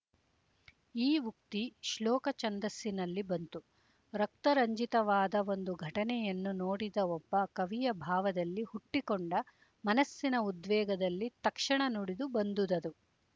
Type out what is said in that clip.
ಈ ಉಕ್ತಿ ಶ್ಲೋಕ ಛಂದಸ್ಸಿನಲ್ಲಿ ಬಂತು ರಕ್ತರಂಜಿತವಾದ ಒಂದು ಘಟನೆಯನ್ನು ನೋಡಿದ ಒಬ್ಬ ಕವಿಯ ಭಾವದಲ್ಲಿ ಹುಟ್ಟಿಕೊಂಡ ಮನಸ್ಸಿನ ಉದ್ವೇಗದಲ್ಲಿ ತಕ್ಷಣ ನುಡಿದು ಬಂದುದದು